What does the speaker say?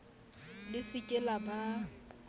le se ke la ba